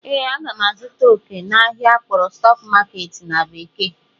Ee, m ga-azụta oke n'ahịa akpọrọ "stock market" na bekee